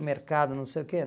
O mercado, não sei o quê.